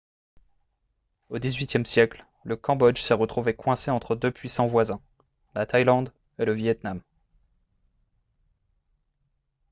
au xviiie siècle le cambodge s'est retrouvé coincé entre deux puissants voisins la thaïlande et le vietnam